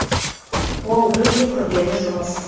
ол өте күрделі жұмыс